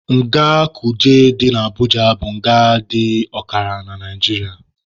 Nga Kuje dị na Abuja bụ nga dị ọkara na Naijiria.